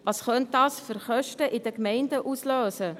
Welche Kosten könnte dies in den Gemeinden auslösen?